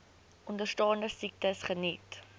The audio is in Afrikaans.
onderstaande siektes geniet